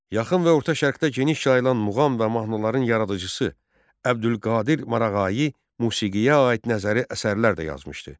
Yaxın və Orta Şərqdə geniş yayılmış muğam və mahnıların yaradıcısı Əbdülqadir Marağayi musiqiyə aid nəzəri əsərlər də yazmışdı.